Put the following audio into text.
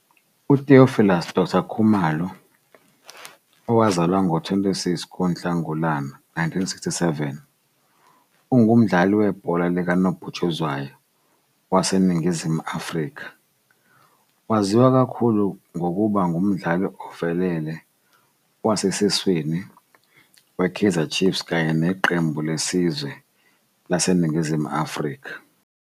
UTheophilus Doctor Khumalo, owazalwa ngo-26 ku-Nhlangulana 1967, ungumdlali webhola likanobhutshuzwayo waseNingizimu Afrika. Waziwa kakhulu ngokuba ngumdlali ovelele wasesiswini we-Kaizer Chiefs kanye neqembu lesizwe laseNingizimu Afrika.